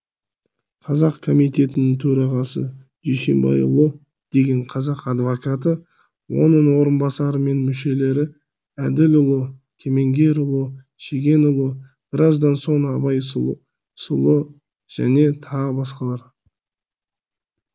қазақ комитетінің төрағасы дүйсенбайұлы деген қазақ адвокаты оның орынбасары мен мүшелері әділұлы кемеңгерұлы шегенұлы біраздан соң абай сұлы және тағы басқалар